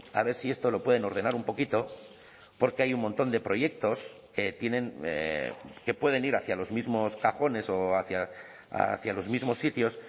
a ver si esto lo pueden ordenar un poquito porque hay un montón de proyectos que tienen que pueden ir hacia los mismos cajones o hacia los mismos sitios